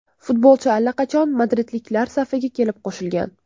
Futbolchi allaqachon madridliklar safiga kelib qo‘shilgan.